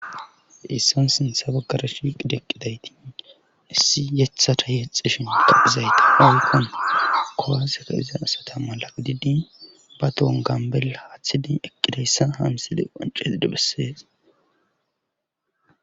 Haysan sintha baggara shiqidi eqidaysati issi yetha ta yexishin qaphizayta hoonkon kowaseka iza asata mala didi ba tohon gambel haaththidin eqqidayssa hamsile qonceesid bessees